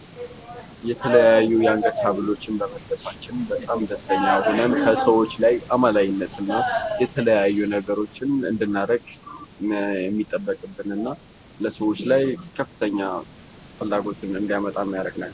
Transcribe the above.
የተለያዩ የአንገት ሀብሎችን በመልበሳችን በጣም ደስተኛ ያደርገናል። ከሰዎች ላይ አማላይነት እና የተለያዩ ነገሮችን እንድናረግ የሚጠበቅብንና ለሰዎች ላይ ከፍተኛ ፍላጎትን እንዲያመጣ ያደርገናል።